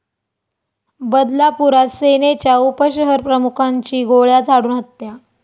बदलापुरात सेनेच्या उपशहरप्रमुखांची गोळ्या झाडून हत्या